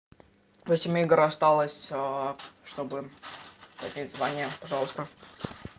восемь игр осталось чтобы поднять звание пожалуйста